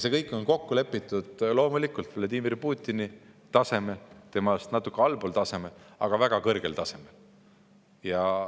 See kõik on kokku lepitud loomulikult Vladimir Putini tasemel, temast natuke allpool tasemel, aga väga kõrgel tasemel.